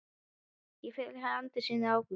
Ég fer til Andalúsíu í ágúst.